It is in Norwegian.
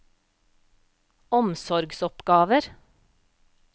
omsorgsoppgaver